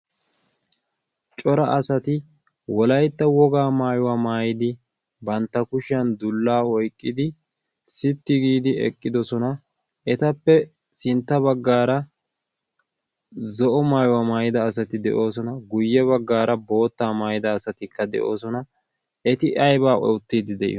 cora asati wolaytta wogaa maayuwaa maayidi bantta kushiyan dullaa oyqqidi sitti giidi eqqidosona. etappe sintta baggaara zo7o maayuwaa maayida asati de7oosona. guyye baggaara boottaa maayida asatikka de7oosona. eti aybba oottiddi de7iyoona?